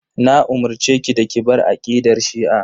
Na umurceki da ki bar aqidar shi'a.